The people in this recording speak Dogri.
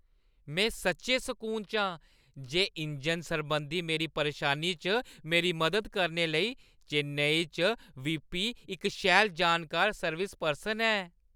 में सच्चैं सकून च आं जे इंजन सरबंधी मेरी परेशानी च मेरी मदद करने लेई चेन्नई च वीपी, इक शैल जानकार सर्विस पर्सन है।